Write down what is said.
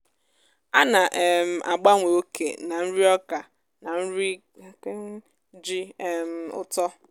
ana um m agbanwe oke nà nri ọka na nri ji um ụtọ.